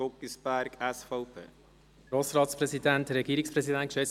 Zuerst hat Grossrat Guggisberg das Wort.